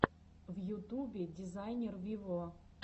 в ютубе дизайнер виво